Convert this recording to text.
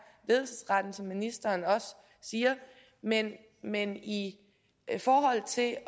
ledelsesretten som ministeren også siger men men i forhold til at